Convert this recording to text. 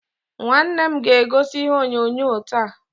Nwanne m ga-egosi ihe onyonyo taa.